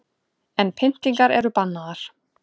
En pyntingar eru bannaðar